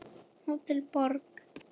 Hótel Borg.